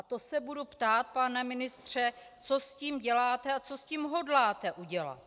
A to se budu ptát, pane ministře, co s tím děláte a co s tím hodláte udělat.